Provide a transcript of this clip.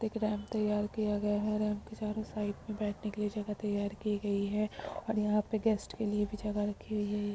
एक रैंप तैयार किया गया है| रैंप के चारो साइड में बैठने के लिए जगह तैयार की गयी है और यहाँ पे गेस्ट के लिए भी जगह रखी हुई गयी --